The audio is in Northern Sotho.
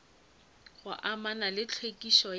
go amana le tlhwekišo ya